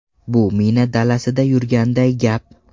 Bu mina dalasida yurganday gap.